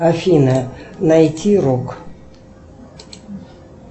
афина найти рок